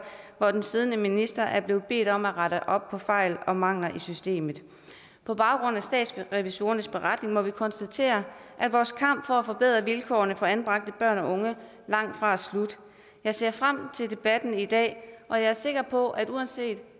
hvor den siddende minister er blevet bedt om at rette op på fejl og mangler i systemet på baggrund af statsrevisorernes beretning må vi konstatere at vores kamp for at forbedre vilkårene for anbragte børn og unge langtfra er slut jeg ser frem til debatten i dag og jeg er sikker på at uanset